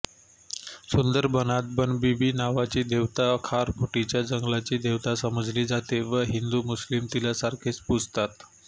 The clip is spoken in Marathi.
सुंदरबनात बनबिबी नावाची देवता खारफुटीच्या जंगलाची देवता समजली जाते व हिंदूमुस्लिम तिला सारखेच पूजतात